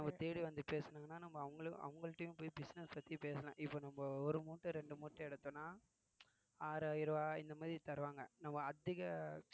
நம்ம தேடி வந்து பேசினோம்னா நம்ம அவுங்கள்~ அவுங்கள்ட்டயும் போய் business பத்தி பேசலாம் இப்ப நம்ம ஒரு மூட்டை இரண்டு மூட்டை எடுத்தோம்ன்னா ஆறு ஆயிரம் ரூபாய் இந்த மாதிரி தருவாங்க நம்ம அதிக